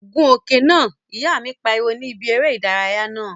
Gun okùn náà! Ìyá mi pariwo ní bi eré ìdárayá naa